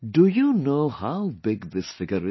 Do you know how big this figure is